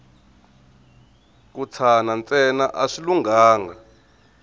ku tshana ntsena a swi lunghanga